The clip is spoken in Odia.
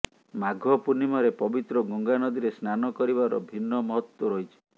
ମାଘ ପୂର୍ଣ୍ଣିମାରେ ପବିତ୍ର ଗଙ୍ଗା ନଦୀରେ ସ୍ନାନ କରିବାର ଭିନ୍ନ ମହତ୍ତ୍ୱ ରହିଛି